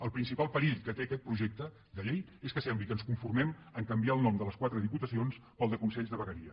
el principal perill que té aquest projecte de llei és que sembli que ens conformem a canviar el nom de les quatre diputacions pel de consells de vegueria